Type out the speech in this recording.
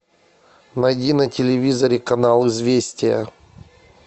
найди на телевизоре канал известия